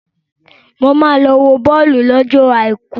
Mo máa lọ wo bọ́ọ̀lù lọ́jọ àìkú.